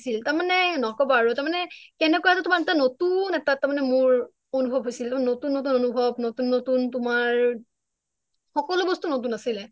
তাৰ মানে নকবা আৰু তাৰ মানে তেনেকুৱা টো তোমাৰ এটা নতুন এটা তাৰ মানে মোৰ অনুভৱ হৈছিলনতুন নতুন অনুভৱ নতুন নতুন তোমাৰ সকলো বস্তু নতুন আছিলে